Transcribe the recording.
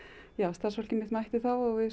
starfsfólkið mitt mætti þá og við